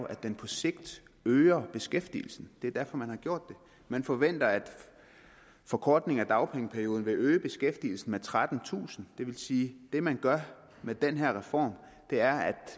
at den på sigt øger beskæftigelsen det er derfor man har gjort det man forventer at forkortelsen af dagpengeperioden vil øge beskæftigelsen med trettentusind det vil sige at det man gør med den her reform er at